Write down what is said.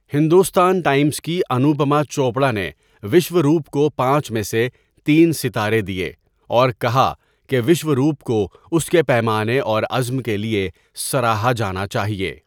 Hindustan Times کی انوپما چوپڑا نے وشوروپ کو پانچ میں سے تین ستارے دیے اور کہا کہ وشوروپ کو اس کے پیمانے اور عزم کے لیے سراہا جانا چاہیے۔